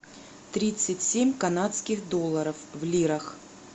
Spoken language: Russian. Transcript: тридцать семь канадских долларов в лирах